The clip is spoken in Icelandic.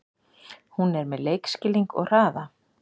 Hún er með leikskilning og hraða.